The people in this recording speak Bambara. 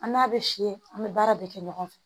An n'a bɛ fiyɛ an bɛ baara bɛɛ kɛ ɲɔgɔn fɛ